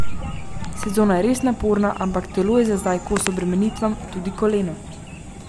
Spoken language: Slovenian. Sezona je res naporna, ampak telo je za zdaj kos obremenitvam, tudi koleno.